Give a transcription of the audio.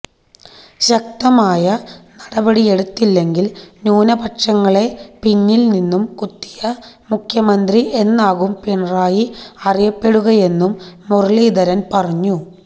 ശക്തമായ നടപടിയെടുത്തില്ലെങ്കില് ന്യൂനപക്ഷങ്ങളെ പിന്നില് നിന്നും കുത്തിയ മുഖ്യമന്ത്രി എന്നാകും പിണറായി അറിയപ്പെടുകയെന്നും മുരളീധരന് പറഞ്ഞു